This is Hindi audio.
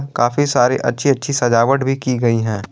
काफी सारी अच्छी अच्छी सजावट भी की गई है।